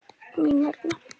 Mín vegna.